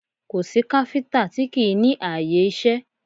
Kò sí káfíńtà tí kì í ní ààyè iṣẹ́